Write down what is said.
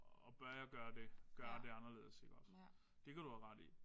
Og bør jeg gøre det? Gøre det anderledes iggås. Det kan du have ret i